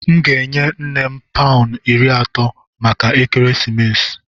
M ga-enye nne m paụnụ iri atọ maka ekeresimesi.